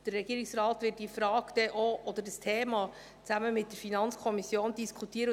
Der Regierungsrat wird diese Frage oder dieses Thema denn auch zusammen mit der FiKo diskutieren.